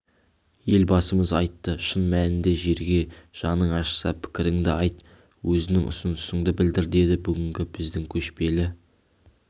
елбасымыз айтты шын мәнінде жерге жаның ашыса пікіріңді айт өзінің ұсынысыңды білдір деді бүгінгі біздің көшпелі